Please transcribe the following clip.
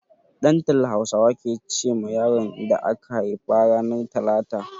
Ɗantala Hausawa ke ce ma yaron da aka haifa ranar talata.